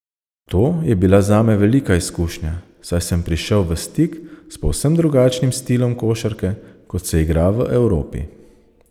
To je bila zame velika izkušnja, saj sem prišel v stik s povsem drugačnim stilom košarke, kot se igra v Evropi.